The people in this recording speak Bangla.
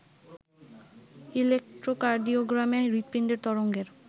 ইলেক্ট্রোকার্ডিওগ্রামে হৃতপিন্ডের তরঙ্গের